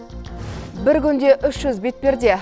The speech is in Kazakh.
бір күнде үш жүз бетперде